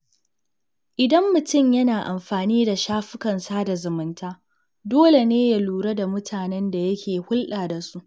Idan mutum yana amfani da shafukan sada zumunta, dole ne ya lura da mutanen da yake hulɗa da su.